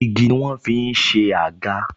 Igi ni wọ́n ń fi ṣe àga